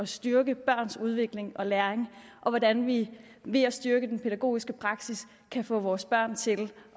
styrke børns udvikling og læring og hvordan vi ved at styrke den pædagogiske praksis kan få vores børn til